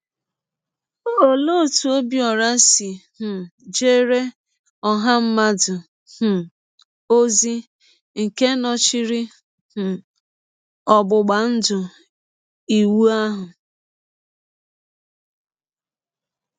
Olee otú Ọbiọra si um jeere ọha mmadụ um ozi nke nọchiri um ọgbụgba ndụ Iwu ahụ?